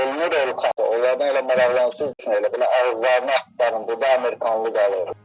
Ellər olanda elə onlardan elə maraqlansın ki, elə bil ki, ağızlarını axtarın, burda amerikanlı qalır.